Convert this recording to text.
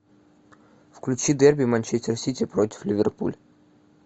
включи дерби манчестер сити против ливерпуль